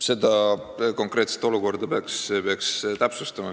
Seda konkreetset olukorda peaks täpsustama.